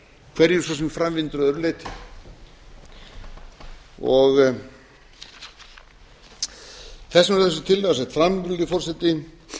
hverju svo sem fram vindur að öðru leyti þess vegna er þessi tillaga sett fram virðulegi forseti